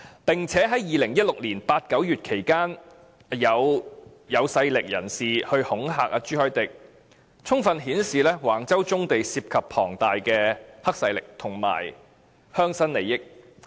在2016年8月至9月期間，有具勢力的人士恐嚇朱凱廸議員，充分顯示橫洲棕地涉及龐大的黑勢力及鄉紳利益。